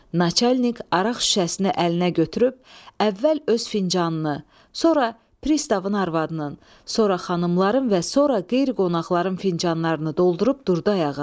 Naçalik araq şüşəsini əlinə götürüb əvvəl öz fincanını, sonra pristavın arvadının, sonra xanımların və sonra qeyri-qonaqların fincanlarını doldurub durdu ayağa.